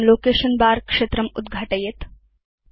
इदं लोकेशन बर क्षेत्रम् उद्घाटयेत्